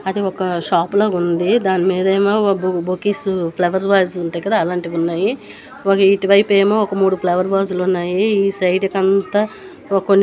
అది ఒక షాప్ లాగా ఉంది. దాని మీద ఏమో బొకేస్ ఫ్లవర్ వాజ్ లు ఉంటాయి కదా అలాంటివి ఉన్నాయి. ఇటువైపు ఏమో ఒక మూడు ఫ్లవర్ వాజ్ లు ఉన్నాయి ఈ సైడ్ కంతా.